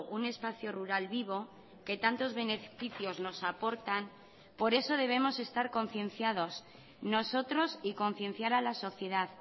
un espacio rural vivo que tantos beneficios nos aportan por eso debemos estar concienciados nosotros y concienciar a la sociedad